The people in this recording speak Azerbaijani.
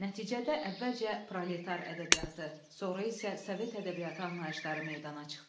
Nəticədə əvvəlcə proletar ədəbiyyatı, sonra isə Sovet ədəbiyyatı anlayışları meydana çıxdı.